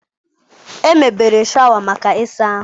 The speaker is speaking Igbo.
Emebere shawa maka ịsa ahụ.